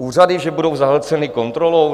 Úřady že budou zahlceny kontrolou?